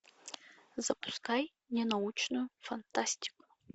запускай не научную фантастику